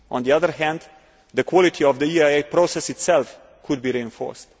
On the other hand, the quality of the EIA process itself could be reinforced.